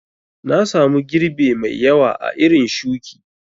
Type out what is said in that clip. Nasamu girbe mai ƴawa a irin shuki